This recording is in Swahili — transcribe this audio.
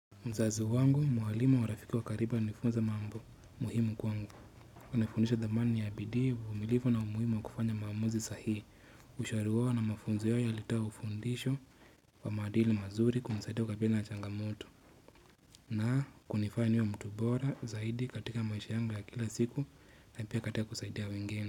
Mzazi wangu mwalimu wa rafiki wa karibu anifunza mambo muhimu kwangu Kunaifunisha dhamani ya bidii uvumilivu na umuhimu wa kufanya maamuzi sahihi ushari wao na mafunzo yao yalitoa ufundisho wa maadili mazuri kumsaidia kukabili na changamoto na kunifanya mtu bora zaidi katika maisha yangu ya kila siku na pia katika kusaidia wengine.